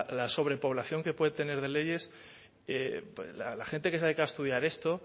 la sobrepoblación que puede tener de leyes la gente que se ha dedicado a estudiar esto